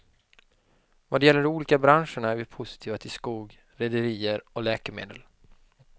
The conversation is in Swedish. Vad gäller de olika branscherna är vi positiva till skog, rederier och läkemedel.